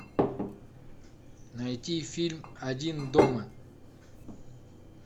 найти фильм один дома